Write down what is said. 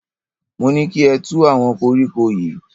Mo ní kí ẹ tu àwọn kọríkọ yìí.